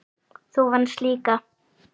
Þú venst líka.